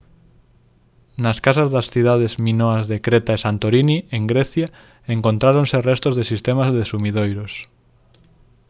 nas casas das cidades minoas de creta e santorini en grecia encontráronse restos de sistemas de sumidoiros